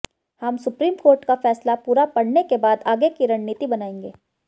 हम supreme court का फैसला पूरा पढ़ने के बाद आगे की रणनीति बनाएंगे